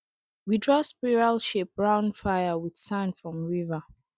we draw spiral shape round fire with sand from river